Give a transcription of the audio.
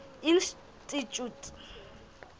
institjhute